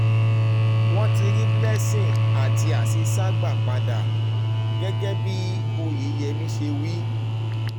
wọ́n um ti rí blessing àti hasisat um gbà padà gẹ́gẹ́ bí oyeyẹmí ṣe wí